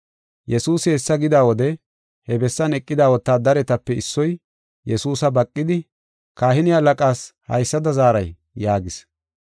Yesuusi hessa gida wode, he bessan eqida wotaadaretape issoy Yesuusa baqidi, “Kahine halaqaas haysada zaaray?” yaagis.